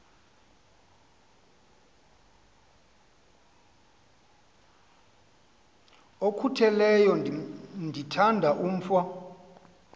okhutheleyo ndithanda umf